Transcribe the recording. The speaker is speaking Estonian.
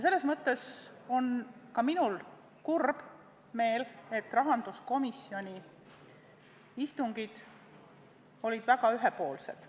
Selles mõttes on ka minul kurb meel, et rahanduskomisjoni istungid olid väga ühepoolsed.